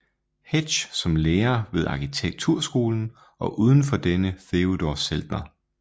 Hetsch som lærer ved arkitekturskolen og uden for denne Theodor Zeltner